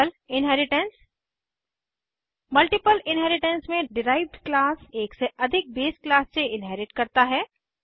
multiple inheritance multiple inheritance में derived class एक से अधिक बेस क्लास से इन्हेरिट करता है